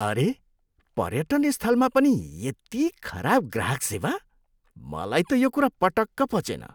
अरे! पर्यटन स्थलमा पनि यति खराब ग्राहक सेवा? मलाई त यो कुरा पटक्क पचेन।